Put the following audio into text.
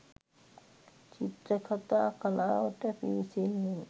චිත්‍රකතා කලාවට පිවිසෙන්නේ